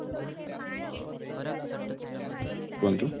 କୁହନ୍ତୁ